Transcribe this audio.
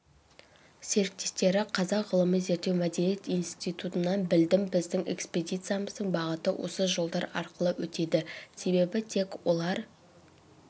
серіктестері қазақ ғылыми-зерттеу мәдениет институтынан білдім біздің экспедияциямыздың бағыты осы жолдар арқылы өтеді себебітек олар